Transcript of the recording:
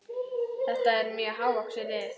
Þetta er mjög hávaxið lið.